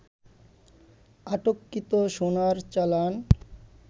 আটককৃত সোনার চালান